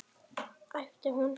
æpti hún.